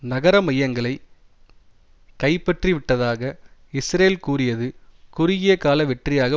நகர மையங்களை கைப்பற்றிவிட்டதாக இஸ்ரேல் கூறியது குறுகிய கால வெற்றியாக